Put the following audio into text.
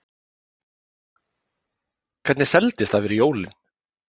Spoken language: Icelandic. Helga: Hvernig seldist það fyrir jólin?